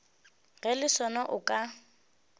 ge le sona o ka